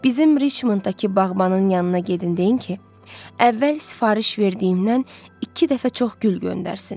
Bizim Riçmonddakı bağbanın yanına gedin deyin ki, əvvəl sifariş verdiyimdən iki dəfə çox gül göndərsin.